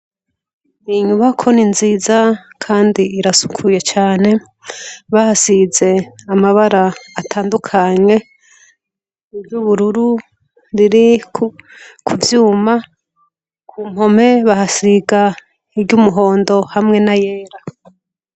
Iyi nyubako ni nziza kandi irasukuye cane. Bahasize amabara atandukanye. Iryo ubururu riri ku vyuma, ku mpome bahasiga iryo umuhondo hamwe n'ayera.